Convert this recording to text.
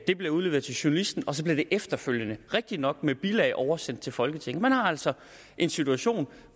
det blev udleveret til journalisten og så blev det efterfølgende rigtig nok med bilag oversendt til folketinget man har altså en situation